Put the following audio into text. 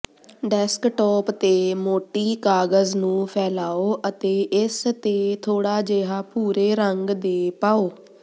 desktop ਤੇ ਮੋਟੀ ਕਾਗਜ਼ ਨੂੰ ਫੈਲਾਓ ਅਤੇ ਇਸ ਤੇ ਥੋੜਾ ਜਿਹਾ ਭੂਰੇ ਰੰਗ ਦੇ ਪਾਓ